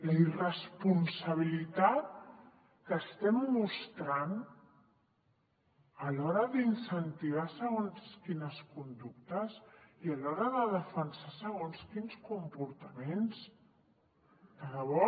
la irresponsabilitat que estem mostrant a l’hora d’incentivar segons quines conductes i a l’hora de defensar segons quins comportaments de debò